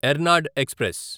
Ernad express